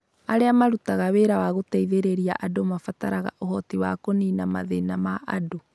Arĩa marutaga wĩra wa gũteithĩrĩria andũ mabataraga ũhoti wa kũniina mathĩna ma andũ.